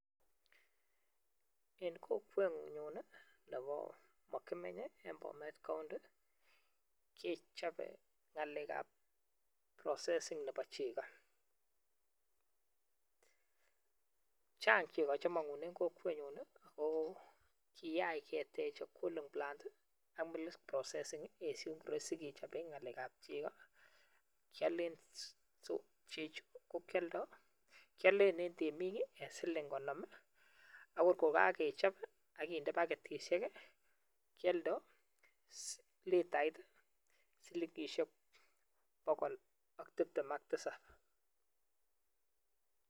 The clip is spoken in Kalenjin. En Kokwenyun Nebo makimenyeben Bomet counti kechobe ngalek ab processing Nebo cheko Chang cheko chemangunen oo kiyach ketech cooling plant a Mik processing en soingiroi sikechoben ngalek ab cheko kialen cheko chuton AK kialen en temik akokakechob agende baketishek kioldo litait AK tiptem AK tisab